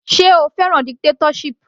Sé o fẹ́ràn dictatorship.